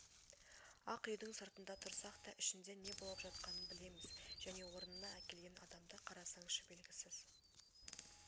ақ үйдің сыртында тұрсақ та ішінде не болып жатқанын білеміз және орнына әкелген адамды қарасаңшы белгісіз